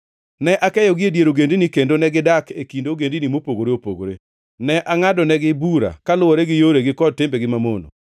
Ne akeyogi e dier ogendini, kendo negidak e kind ogendini mopogore opogore. Ne angʼadonegi bura kaluwore gi yoregi kod timbegi mamono.